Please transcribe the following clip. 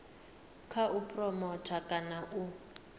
kha u phuromotha kana u